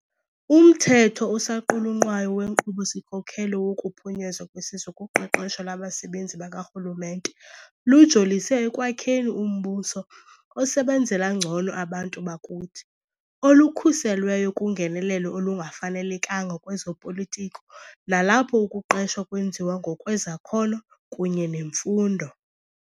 Umthetho osaqulunqwayo weNkqubo-sikhokelo wokuPhunyezwa kweSizwe kuQeqesho lwaBasebenzi bakaRhulumente lujolise ekwakheni umbuso osebenzela ngcono abantu bakuthi, olukhuselweyo kungenelelo olungafanelekanga lwezo politiko nalapho ukuqeshwa kwenziwa ngokwezakhono kunye nemfundo.